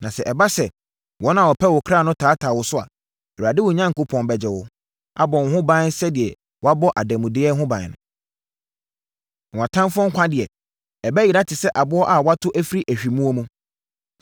Na sɛ ɛba sɛ wɔn a wɔpɛ wo kra no taataa wo so a, Awurade, wo Onyankopɔn, bɛgye wo, abɔ wo ho ban sɛdeɛ wɔbɔ ademudeɛ ho ban. Na wʼatamfoɔ nkwa deɛ, ɛbɛyera te sɛ aboɔ a wɔato firi ahwimmoɔ mu.